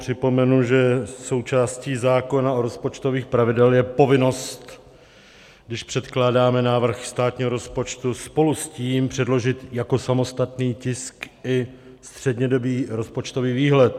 Připomenu, že součástí zákona o rozpočtových pravidlech je povinnost, když předkládáme návrh státního rozpočtu, spolu s tím předložit jako samostatný tisk i střednědobý rozpočtový výhled.